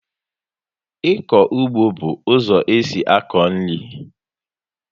Ịkọ ụgbọ bú ụzọ esị akọ nri